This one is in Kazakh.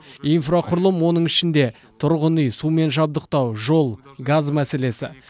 инфрақұрылым оның ішінде тұрғын үй сумен жабдықтау жол газ мәселесі